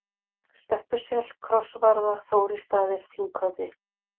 Stöppusel, Krossvarða, Þórisstaðir, Þinghöfði